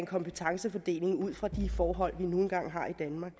kompetencefordelingen ud fra de forhold vi nu engang har i danmark